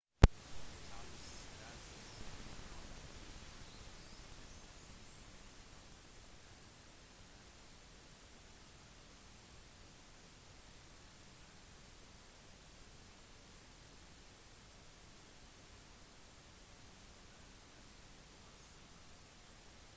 charles deltok derimot på universitetet ved trinity college cambridge der han studerte antropologi og arkeologi og etter hvert historie og der han fikk en 2:2 en lavere annenklassegrad